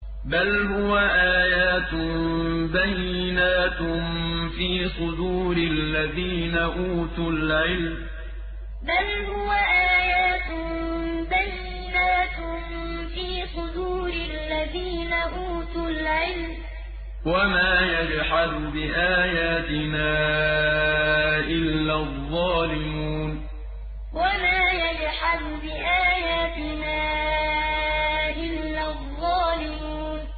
بَلْ هُوَ آيَاتٌ بَيِّنَاتٌ فِي صُدُورِ الَّذِينَ أُوتُوا الْعِلْمَ ۚ وَمَا يَجْحَدُ بِآيَاتِنَا إِلَّا الظَّالِمُونَ بَلْ هُوَ آيَاتٌ بَيِّنَاتٌ فِي صُدُورِ الَّذِينَ أُوتُوا الْعِلْمَ ۚ وَمَا يَجْحَدُ بِآيَاتِنَا إِلَّا الظَّالِمُونَ